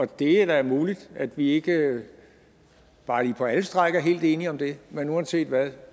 det er muligt at vi ikke bare lige på alle stræk er helt enige om det men uanset hvad